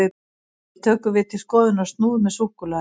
hér tökum við til skoðunar snúð með súkkulaði